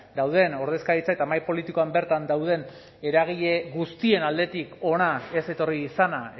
dauden ordezkaritza eta mahai politikoan bertan dauden eragile guztien aldetik hona ez etorri izana